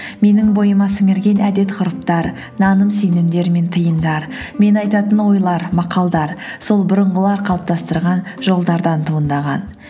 менің бойыма сіңірген әдет ғұрыптар наным сенімдер мен тыйымдар мен айтатын ойлар мақалдар сол бұрынғылар қалыптастырған жолдардан туындаған